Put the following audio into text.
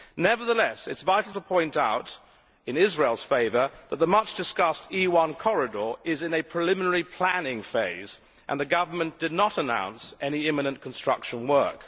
Nevertheless it is vital to point out in Israel's favour that the much discussed E1 corridor is in a preliminary planning phase and the government did not announce any imminent construction work.